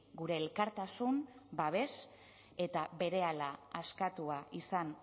gure elkartasun babes eta berehala askatua izan